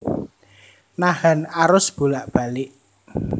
Nahan arus bolak balik